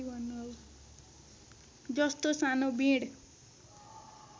जस्तो सानो बिँड